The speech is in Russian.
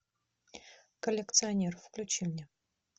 коллекционер включи мне